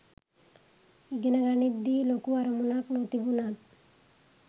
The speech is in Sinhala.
ඉගෙන ගනිද්දි ලොකු අරමුණක් නොතිබුණත්